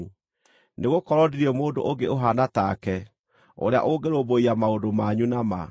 Nĩgũkorwo ndirĩ mũndũ ũngĩ ũhaana take, ũrĩa ũngĩrũmbũiya maũndũ manyu na ma.